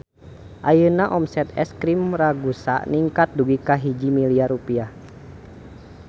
Ayeuna omset Es Krim Ragusa ningkat dugi ka 1 miliar rupiah